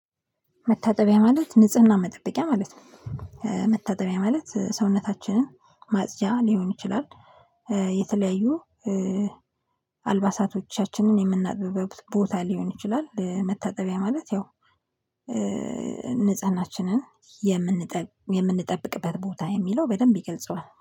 መታጠቢያ ማለት ንጽህና መጠበቂያ ማለት ነው። መታጠቢያ ማለት ሰውነታችንን ማጽጃ ሊሆን ይችላል። የተለያዩ አልባሳቶቻችንን የምናጥብበት ቦታ ሊሆን ይችላል። መታጠቢያ ማለት ያው ንጽህናችንን የምንጠብቅበት ቦታ የሚለው በደንብ ይገልጸዋል